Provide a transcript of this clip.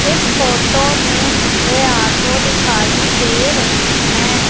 इस फोटो में मुझे ऑटो दिखाई दे रही हैं।